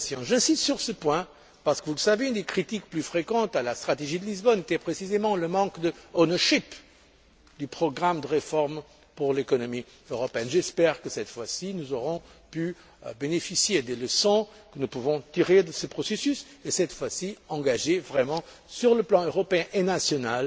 J'insiste sur ce point, parce que, vous le savez, l'une des critiques les plus fréquentes à la stratégie de Lisbonne était précisément le manque d' ownership du programme de réformes pour l'économie européenne. J'espère que, cette fois ci, nous aurons pu bénéficier des leçons que nous pouvons tirer de ce processus, et cette fois ci engager vraiment, sur le plan européen et national,